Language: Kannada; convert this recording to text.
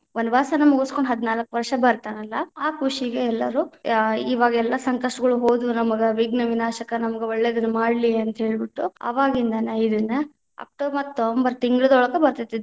ವನವಾಸನ ಮುಗಿಸಕೊಂಡ ಹದನಾಲ್ಕ ವಷ೯ ಬತಾ೯ನಲ್ಲಾ, ಆ ಖುಷಿಗೆ ಎಲ್ಲಾರು ಆ ಇವಾಗ ಎಲ್ಲಾ ಸಂಕಷ್ಟಗಳು ಹೋದು ನಮಗ ವಿಘ್ನ ವಿನಾಶಕ ನಮಗ ಒಳ್ಳೆದನ್ನ ಮಾಡ್ಲಿ ಅಂತ ಹೇಳ್ಬಿಟ್ಟು, ಅವಾಗಿಂದನ ಇದನ್ನ ಅಕ್ಟೋಬರ್‌ ತಿಂಗಳದೊಳಗ ಬತೇ೯ತಿ.